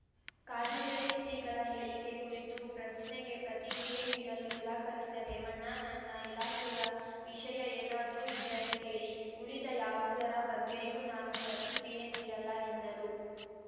ಕಾಗಿನೆಲೆ ಶ್ರೀಗಳ ಹೇಳಿಕೆ ಕುರಿತ ಪ್ರಶ್ನೆಗೆ ಪ್ರತಿಕ್ರಿಯೆ ನೀಡಲು ನಿರಾಕರಿಸಿದ ರೇವಣ್ಣ ನನ್ನ ಇಲಾಖೆಯ ವಿಷಯ ಏನಾದ್ರೂ ಇದ್ದರೆ ಕೇಳಿ ಉಳಿದ ಯಾವುದರ ಬಗ್ಗೆಯೂ ನಾನು ಪ್ರತಿಕ್ರಿಯೆ ನೀಡಲ್ಲ ಎಂದರು